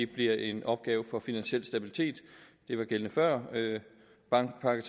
bliver en opgave for finansiel stabilitet det var gældende før bankpakke